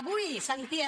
avui sentia